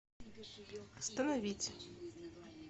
остановить